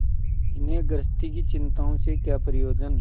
इन्हें गृहस्थी की चिंताओं से क्या प्रयोजन